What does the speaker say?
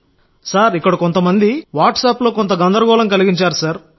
sir ఇక్కడ కొంతమంది వాట్సాప్లో కొంత గందరగోళం కలిగించారు సార్